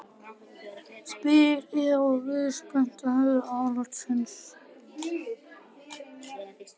spyr Eva og virðist spennt að heyra álit hans.